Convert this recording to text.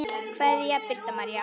Kveðja, Birta María.